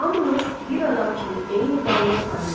Hamımız bir adam kimi eyni qanuna tabeyik.